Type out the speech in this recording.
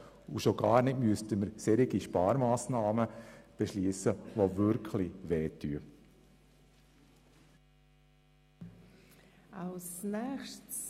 Schon gar nicht müssten wir solche Sparmassnahmen beschliessen, die wirklich wehtun.